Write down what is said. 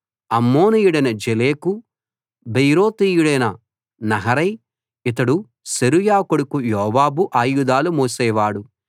అమ్మోనీయుడైన జెలెకు బెయేరోతీయుడైన నహరై ఇతడు సెరూయా కొడుకు యోవాబు ఆయుధాలు మోసేవాడు